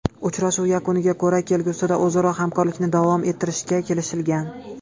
Uchrashuv yakuniga ko‘ra kelgusida o‘zaro hamkorlikni davom ettirishga kelishilgan.